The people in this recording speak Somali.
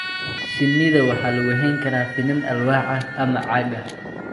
Shinnida waxa lagu hayn karaa finan alwaax ah ama caag ah.